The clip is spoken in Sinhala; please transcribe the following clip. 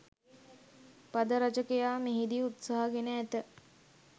පද රචකයා මෙහිදී උත්සාහ ගෙන ඇත